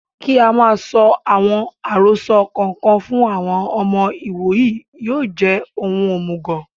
Kí á máa sọ àwọn àròsọ kò kan fún àwọn ọmọ ìwòyí yóò jẹ́ ohun òmùgọ̀